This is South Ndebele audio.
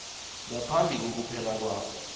ngaphambi kokuphela kwabo